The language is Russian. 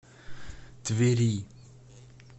твери